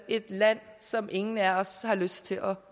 et land som ingen af os har lyst til at